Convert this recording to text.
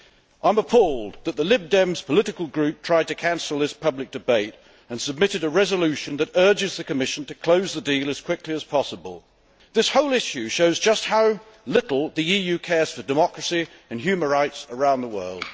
I am appalled that the Liberal Democrat political group tried to cancel this public debate and submitted a resolution that urges the Commission to close the deal as quickly as possible. This whole issue shows just how little the EU cares for democracy and human rights around the world.